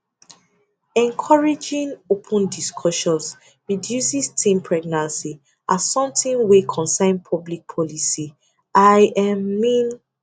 encouraging open discussions reduces teen pregnancy as something wey concern public policy i um mean